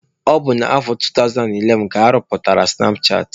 Ọ bụ na afọ 2011 ka arụpụtara sụnap chatị.